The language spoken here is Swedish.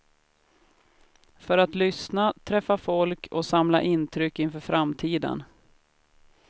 För att lyssna, träffa folk och samla intryck inför framtiden.